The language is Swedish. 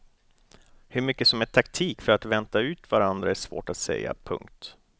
Hur mycket som är taktik för att vänta ut varandra är svårt att säga. punkt